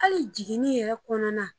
Hali jiginni yɛrɛ kɔnɔna